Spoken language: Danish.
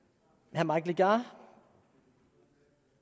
herre mike legarth